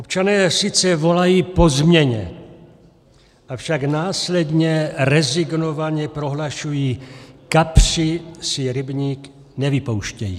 Občané sice volají po změně, avšak následně rezignovaně prohlašují: Kapři si rybník nevypouštějí.